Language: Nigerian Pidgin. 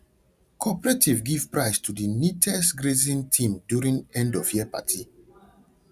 cooperative give prize to the neatest grazing team during endofyear party